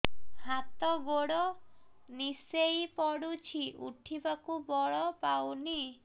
ହାତ ଗୋଡ ନିସେଇ ପଡୁଛି ଉଠିବାକୁ ବଳ ପାଉନି